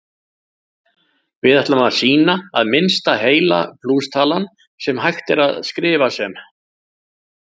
Við ætlum að sýna að minnsta heila plústalan sem hægt er að skrifa sem